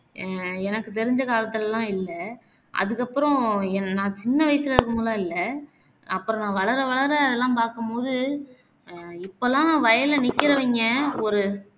அஹ் எனக்கு தெரிஞ்ச காலத்துலலாம் இல்ல அதுக்கு அப்பறம் என் நா சின்ன வசுல இருக்கும்போதுலாம் இல்ல அப்பறம் நா வளர வளர அதெல்லாம் பாக்கும்போது அஹ் இப்போலாம் வயல்ல நிக்கிறவைங்க ஒரு